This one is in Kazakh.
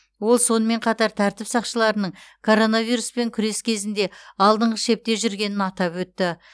ол сонымен қатар тәртіп сақшыларының коронавируспен күрес кезінде алдыңғы шепте жүргенін атап өтті